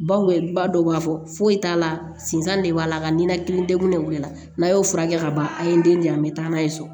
Bawe ba dɔw b'a fɔ foyi t'a la sinzan de b'a la ka ninakili degun de la n'a y'o furakɛ ka ban a ye n den di yan a bɛ taa n'a ye so